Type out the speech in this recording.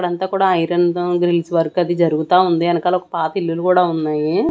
ఇక్కడ అంతా కూడా ఐరన్ తో గ్రిల్స్ వర్క్ అది జరుగుతా ఉంది ఎనకాల ఒక పాత ఇల్లులు కూడా ఉన్నాయి.